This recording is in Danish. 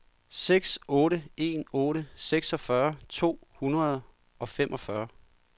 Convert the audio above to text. seks otte en otte seksogfyrre to hundrede og femogfyrre